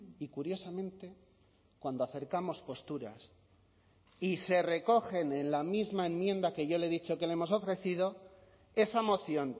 y curiosamente cuando acercamos posturas y se recogen en la misma enmienda que yo le he dicho que le hemos ofrecido esa moción